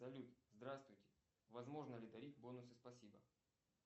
салют здравствуйте возможно ли дарить бонусы спасибо